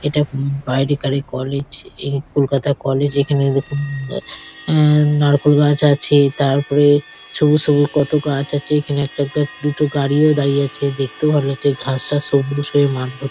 এটা হুম বাইরেকারই কলেজ এই কলকাতা কলেজ এখানে দেখুন অ্যা নারকোল গাছ আছে তারপরে সবুজ সবুজ কতো গাছ আছে এখানে একটা একটা দুটো গাড়িও দাঁড়িয়ে আছে দেখতেও ভালো লাগছে ঘাসটা সবুজ হয়ে মাঠ ভরতি।